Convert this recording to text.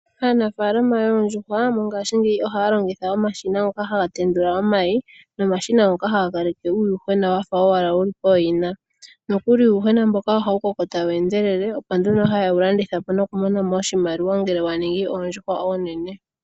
Aanafaalama yoondjuhwa mongashingeyi ohaya longitha omashina ngoka haga tendula omayi, nomashina ngoka haga kaleke uuyuhwena wa fa owala wu li pooyina. Nokuli uuyuhwena mboka oha wu koko ta wu endelele, opo nduno ha ye wu landitha po noku mona mo oshimaliwa ngele wa ningi oondjuhwa oonene.